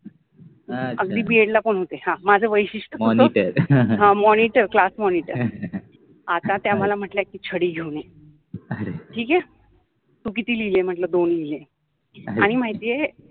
अच्छा, अगदि BEd ला पन होत माझ वैशिष्ट्य पन होत मॉनिटर ह मॉनिटर, क्लास मॉनिटर, आता त्या मला म्हटल्या कि छळि घेऊन ये ठिक आहे तु किति लिहिले आहे म्हटल दोन लिहिले आणि माहिति आहे